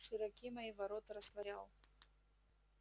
широки мои ворота растворял